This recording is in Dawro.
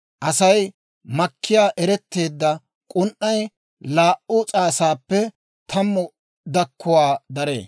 Aasi makkiyaa eretteedda k'un"ay laa"u s'aasaappe tammu dakkuwaa daree.